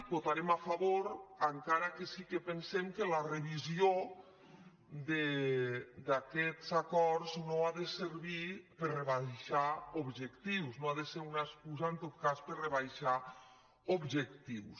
hi vota·rem a favor encara que sí que pensem que la revisió d’aquests acords no ha de servir per rebaixar objec·tius no ha de ser una excusa en tot cas per rebaixar objectius